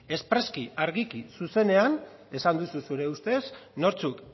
espreski argiki zuzenean esan duzu zure ustez nortzuk